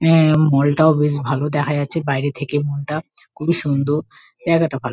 এ-এ mall -টাও বেশ ভালো দেখা যাচ্ছে বাইরে থেকে মল -টা। খুবই সুন্দর। জায়গাটা ভালো।